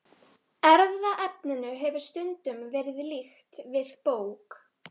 Erfðaefninu hefur stundum verið líkt við bók.